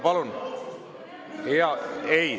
Palun …